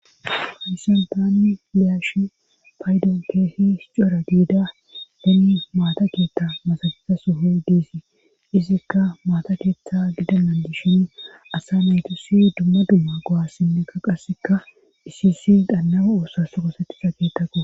Hayssan daanni liyashi paydo keehis cora giida deni maata kiitta masagiza soho deesii izikka maata keeththa gidanandishin asa naytusi dumma dumma go7assinnekka qasseka iisisi daannama oosa soko settisa keettakko